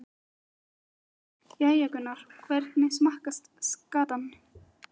Magnús: Jæja Gunnar, hvernig smakkast skatan?